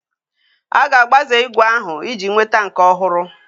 A ga-agbaze ígwè ahụ iji nweta nke ọhụrụ